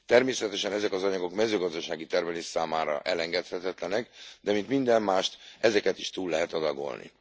Természetesen ezek az anyagok a mezőgazdasági termelés számára elengedhetetlenek, de mint minden mást, ezeket is túl lehet adagolni.